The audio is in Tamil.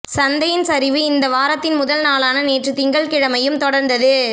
சந்தையின் சரிவு இந்த வாரத்தின் முதல் நாளான நேற்று திங்கட்கிழமையும் தொடர்ந்தது